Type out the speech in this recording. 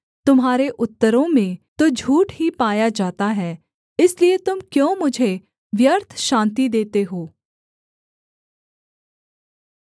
तुम्हारे उत्तरों में तो झूठ ही पाया जाता है इसलिए तुम क्यों मुझे व्यर्थ शान्ति देते हो